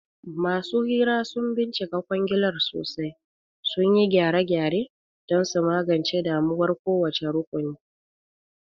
Masu hira sun bincika kwangilar sosai, sun yi gyare-gyare don su magance damuwar kowace rukuni.